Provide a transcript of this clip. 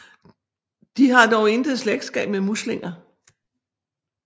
De har dog intet slægtskab med muslinger